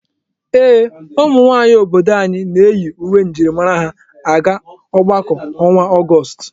Ee, ụmụ nwaanyị obodo anyị na-eyi uwe njirimara ha aga ọgbakọ ọnwa Ọgọọst.